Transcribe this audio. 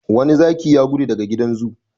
Wani zaki ya gudu daga gidan zoo.